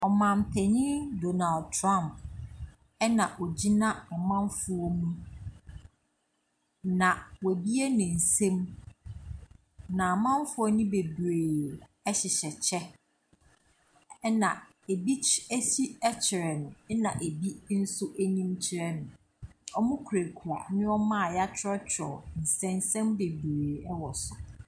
Ɔmanpanin Donald Trump na ɔgyina amanfoɔ mu, na wabue ne nsam, na amanfoɔ no bebree hyehyɛ kyɛ, ɛnna ebi ky akyi kyerɛ no, ɛnna ebi nso anim kyerɛ no. wɔkurakura nneɛma a wɔatwerɛtwerɛ nsɛnsɛm bebree wɔ so.